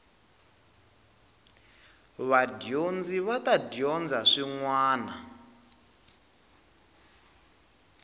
vadyondzi va ta dyondza swin